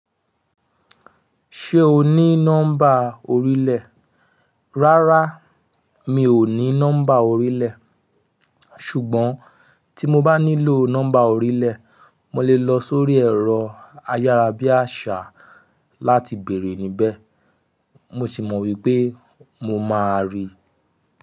Ṣé o ní nọ́mbà orílẹ̀? Rárá, mi ò ní nọ́mbà orílẹ̀. Ṣùgbọ́n tí mo bá nílò nọ́mbà orílẹ̀, mo lè lọ sórí ẹ̀rọ ayárabíàṣá láti bèèrè níbẹ̀. Mo sì mọ̀ wípé mo máa rí i.